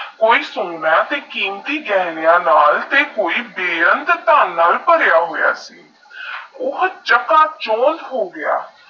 ਕੋਈ ਸ਼ੋਨਾ ਤੇਹ ਕੀਮਤੀ ਗਹਿਣਿਆ ਬੇਰੰਗ ਧਨ ਨਾਲ ਪਰਿਆ ਹੋਇਆ ਊ ਛੱਪ ਛੋੜ ਹੋ ਗਯਾ